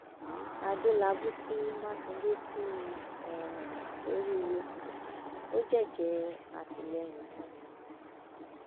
adélábù kí mákindé kú um oríire ó jẹjẹẹ àtìlẹyìn fún un